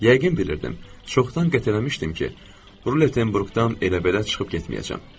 Yəqin bilirdim, çoxdan qət eləmişdim ki, Rutenburqdan elə belə çıxıb getməyəcəyəm.